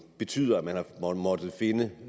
betyder at man har måttet finde